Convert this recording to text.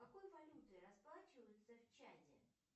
какой валютой расплачиваются в чаде